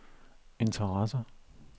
interesserer